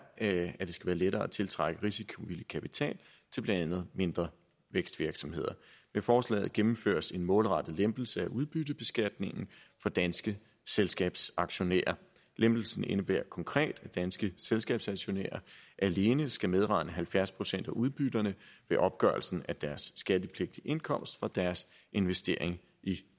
at det skal være lettere at tiltrække risikovillig kapital til blandt andet mindre vækstvirksomheder med forslaget gennemføres en målrettet lempelse af udbyttebeskatningen for danske selskabsaktionærer lempelsen indebærer konkret at danske selskabsaktionærer alene skal medregne halvfjerds procent af udbytterne ved opgørelsen af deres skattepligtige indkomst og deres investering i